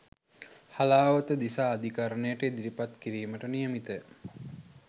හලාවත දිසා අධිකරණයට ඉදිරිපත් කිරීමට නියමිතය